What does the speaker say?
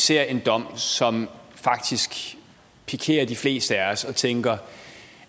ser en dom som faktisk pikerer de fleste af os og tænker